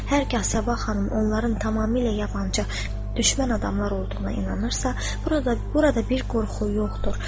Hər hal Sabah xanım onların tamamilə yabancı, düşmən adamlar olduğuna inanırsa, burada bir qorxu yoxdur.